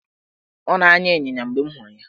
Ọ na-anya ịnyịnya mgbe m hụrụ ya.